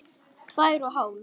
Tvær og hálf.